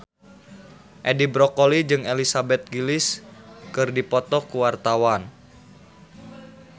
Edi Brokoli jeung Elizabeth Gillies keur dipoto ku wartawan